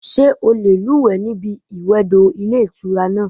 Sé o lè lúùwé ní ibi ìwè odò Ilé Ìtura náà